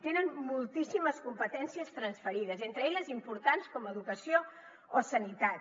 tenen moltíssimes competències transferides entre elles d’importants com educació o sanitat